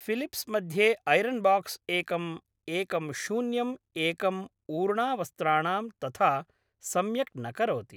Philips मध्ये iron box एकम् एकं शून्यम् एकम् ऊर्णावस्त्राणां तथा सम्यक् न करोति